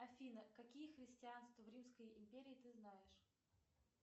афина какие христианства в римской империи ты знаешь